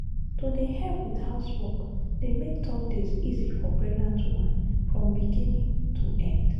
to dey help with housework dey make tough days easy for pregnant woman from beginning to end.